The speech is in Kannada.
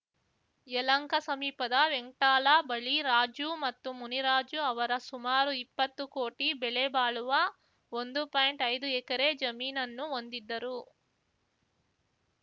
ಯಲಹಂಕ ಸಮೀಪದ ವೆಂಕ್ಟಾಲ ಬಳಿ ರಾಜು ಮತ್ತು ಮುನಿರಾಜು ಅವರ ಸುಮಾರು ಇಪ್ಪತ್ತು ಕೋಟಿ ಬೆಲೆ ಬಾಳುವ ಒಂದು ಪಾಯಿಂಟ್ಐದು ಎಕರೆ ಜಮೀನನ್ನು ಹೊಂದಿದ್ದರು